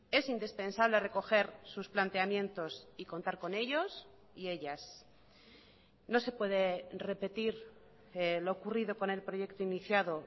es indispensable recoger sus planteamientos y contar con ellos y ellas no se puede repetir lo ocurrido con el proyecto iniciado